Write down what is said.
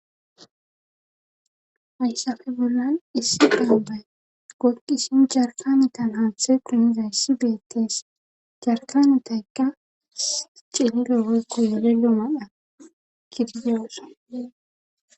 Haysafe bollan issi gaabbay goqisin jarkanitan haanthe guniza yssi beetees jarkanetaykka cindeekko wole yoomadha giryoosa.